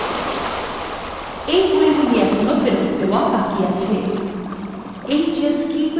এই বইগুলি এখনো ফেরত দেওয়া বাকি আছে